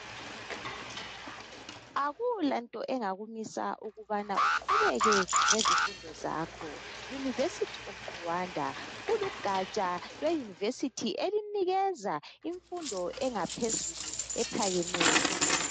Akulanto engakumisa ukubana uqhubeke ngezifundo zakho. University of Rwanda, kulugatsha lweuniversity elinikeza imfundo engaphezulu ephakemeyo.